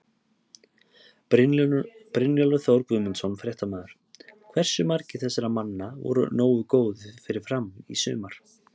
Brynjólfur Þór Guðmundsson, fréttamaður: Hversu margir þessara manna voru nógu góðir fyrir Fram í sumar?